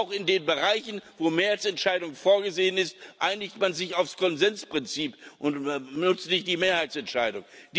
Auch in den Bereichen, wo Mehrheitsentscheidung vorgesehen ist, einigt man sich auf das Konsensprinzip und nützt nicht die Mehrheitsentscheidung.